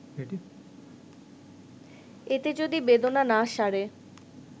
এতে যদি বেদনা না সারে